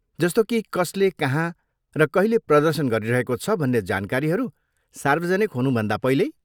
जस्तो कि कसले कहाँ र कहिले प्रदर्शन गरिरहेको छ भन्ने जानकारीहरू सार्वजनिक हुनुभन्दा पहिल्यै?